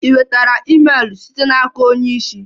Ị nwetara email site n'aka onye isi?